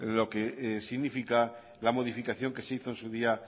lo que significa la modificación que se hizo en su día